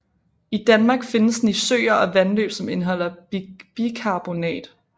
I Danmark findes den i søer og vandløb som indeholder bikarbonat